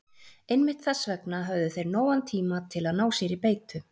Einmitt þess vegna höfðu þeir nógan tíma til að ná sér í beitu.